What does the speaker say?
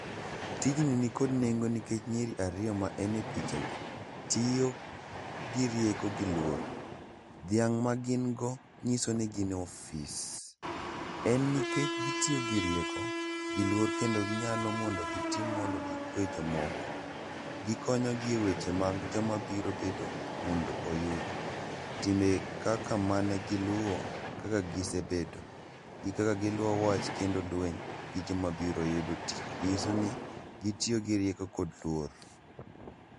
Tijni nikod nengo nikech nyiri ariyo ma en e pichagi tiyo gi rieko gi luor. Dhiang' magin go nyiso ni gin e ofis. En nikech gitiyo gi rieko gi luor kendo ginyalo mondo gitim mondo gikwe jomoko. Gikonyogi e weche mag joma biro bedo mondo oyud time kaka manegiluwo, kaka gisebedo gi kaka giluwo wach kendo lweny gijoma biro yudo tich. Nyiso ni gitiyo gi rieko kod luor.